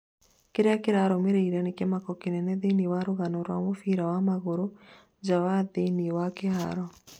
kĩrĩa kĩrarũmĩrĩire nĩ kĩmako kĩnene thĩinĩ wa rũgano rwa mũbira wa magũrũ, nja na thĩinĩ wa kĩharo